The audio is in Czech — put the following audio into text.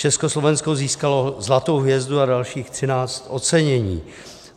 Československo získalo zlatou hvězdu a dalších 13 ocenění.